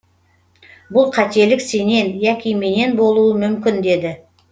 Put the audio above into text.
бұл қателік сенен яки менен болуы мүмкін деді